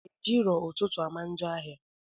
Ejirọ ụtụtụ ama njọ ahị